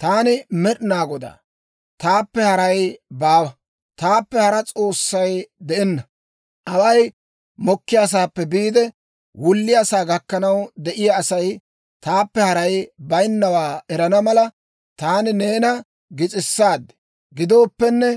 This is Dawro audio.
«Taani Med'inaa Godaa; taappe haray baawa; taappe hara S'oossay de'enna. Away mokkiyaasaappe biide, wulliyaasaa gakkanaw de'iyaa Asay taappe haray bayinnawaa erana mala, taani neena gis'issa. Gidooppenne,